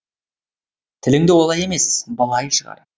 тіліңді олай емес былай шығар